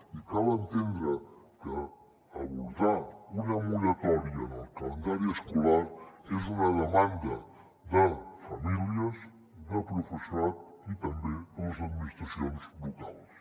i cal entendre que abordar una moratòria en el calendari escolar és una demanda de famílies de professorat i també de les administracions locals